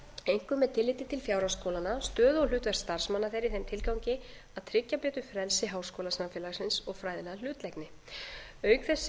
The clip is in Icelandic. einkum með tilliti til fjárhags skólanna stöðu og hlutverks starfsmanna þeirra í þeim tilgangi að tryggja betur frelsi háskólasamfélagsins og fræðilega hlutlægni auk þess